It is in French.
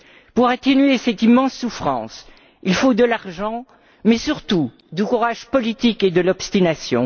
Pour atténuer cette immense souffrance, il faut de l'argent mais surtout du courage politique et de l'obstination.